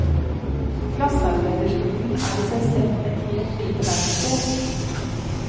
Glassarbeiderstolen er i seg selv et helt lite verksted.